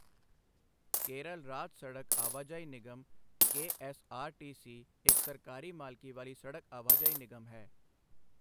ਕੇਰਲ ਰਾਜ ਸੜਕ ਆਵਾਜਾਈ ਨਿਗਮ K. S. R. T. C. ਇੱਕ ਸਰਕਾਰੀ ਮਾਲਕੀ ਵਾਲੀ ਸੜਕ ਆਵਾਜਾਈ ਨਿਗਮ ਹੈ।